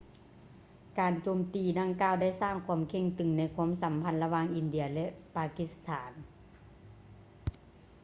ການໂຈມຕີດັ່ງກ່າວໄດ້ສ້າງຄວາມເຄັ່ງຕຶງໃນຄວາມສຳພັນລະຫວ່າງອິນເດຍ ແລະ ປາກິສຖານ